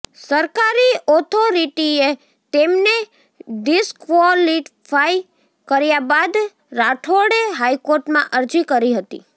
સરકારી ઓથોરિટીએ તેમને ડિસક્વોલિફાઈ કર્યા બાદ રાઠોડે હાઈકોર્ટમાં અરજી કરી હતી